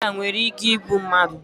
Ụfọdụ ọrịa nwere ike igbu mmadụ